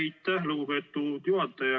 Aitäh, lugupeetud juhataja!